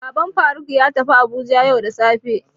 Baban Faruk ya tafi Abuja yau da safe.